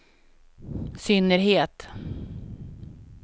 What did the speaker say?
synnerhet